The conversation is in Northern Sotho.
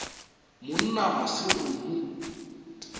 monna ga se go mo